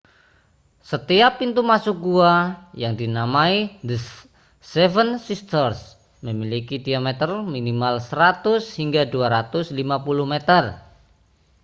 setiap pintu masuk gua yang dinamai the seven sisters memiliki diameter minimal 100 hingga 250 meter